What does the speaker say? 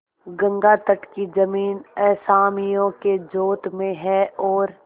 गंगातट की जमीन असामियों के जोत में है और